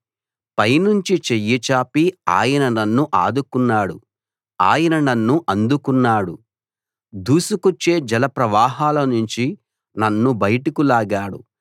పైనుంచి చెయ్యి చాపి ఆయన నన్ను అందుకున్నాడు దూసుకొచ్చే జలప్రవాహాలనుంచి నన్ను బయటకు లాగాడు